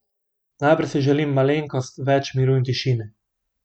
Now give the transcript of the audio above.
Najprej si želim malenkost več miru in tišine.